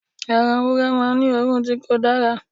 Ẹran ewúrẹ́ máa n ní òórùn ti ko dára